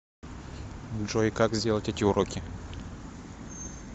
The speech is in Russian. джой как сделать эти уроки